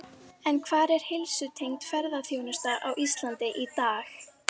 En hvar er heilsutengd ferðaþjónusta á Íslandi í dag?